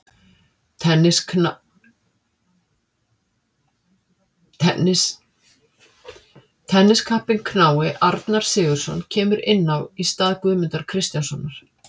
Tenniskappinn knái Arnar Sigurðsson kemur inn á í stað Guðmundar Kristjánssonar.